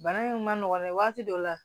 Bana in ma nɔgɔn mɛn waati dɔ la